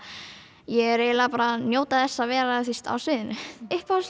ég er bara að njóta þess að vera á sviðinu